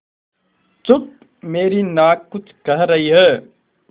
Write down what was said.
चुप मेरी नाक कुछ कह रही है